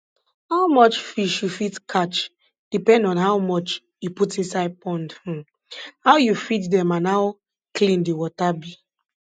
how much fish you fit catch depend on how much you put inside pond um how you feed dem and how clean di water be